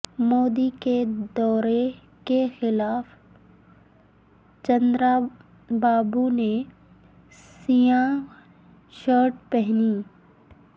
مودی کے دورہ کے خلاف چندرابابونے سیاہ شرٹ پہنی